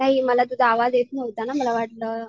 नाही मला तुझा आवाज येत नव्हता ना मला वाटलं